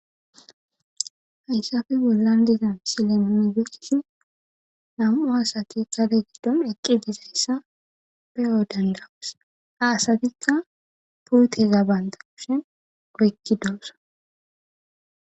Hayisape bollani deyiza misileni nunni beyishini namu'u asati gade gidoni eqi dizayisa beyo danidayosi ha asatika puteza banita kusheni oyikidosona